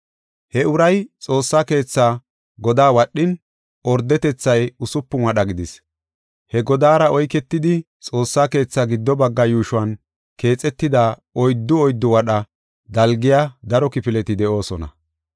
He uray Xoossaa keethaa godaa wadhin, ordetethay usupun wadha gidis. He godaara oyketidi, Xoossaa keetha gido bagga yuushuwan keexetida oyddu oyddu wadha dalgiya daro kifileti de7oosona.